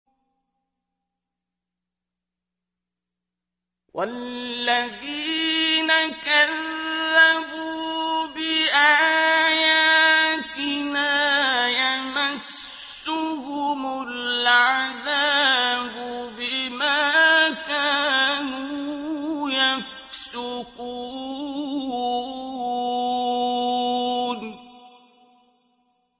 وَالَّذِينَ كَذَّبُوا بِآيَاتِنَا يَمَسُّهُمُ الْعَذَابُ بِمَا كَانُوا يَفْسُقُونَ